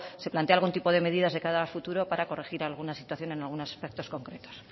se plantea algún tipo de medidas de cara al futuro para corregir alguna situación en algunos aspectos concretos